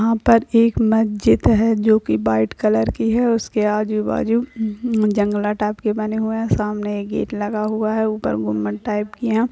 यहाँ पर एक मस्जिद है जो की वाइट कलर की है उसके आजु-बाजु जंगला टाइप के बने हुए है सामने एक गेट लगा हुआ है ऊपर गुम्बद टाइप की है।